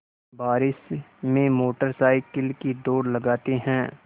बारिश में motorcycle की दौड़ लगाते हैं